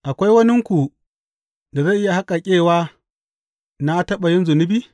Akwai waninku da zai iya haƙaƙƙewa na taɓa yin zunubi?